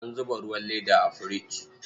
An zuba ruwan leda a firich.